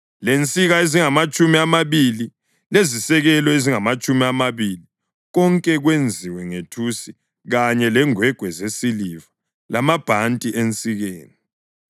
lensika ezingamatshumi amabili lezisekelo ezingamatshumi amabili konke kwenziwe ngethusi kanye lengwegwe zesiliva lamabhanti ensikeni.